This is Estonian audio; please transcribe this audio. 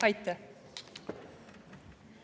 Aitäh!